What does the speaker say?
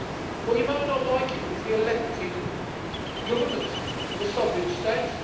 Well, you might not like it, but this is the elected government of a sovereign state.